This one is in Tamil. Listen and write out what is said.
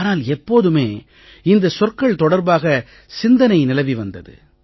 ஆனால் எப்போதுமே இந்தச் சொற்கள் தொடர்பாக சிந்தனை நிலவி வந்தது